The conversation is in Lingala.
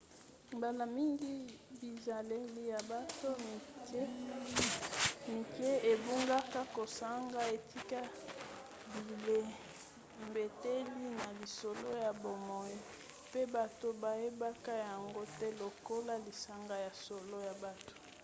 mbala mingi bizaleli ya bato mike ebungaka kozanga etika bilembeteli na lisolo ya bomoi mpe bato bayebaka yango te lokolo lisanga ya solo ya bato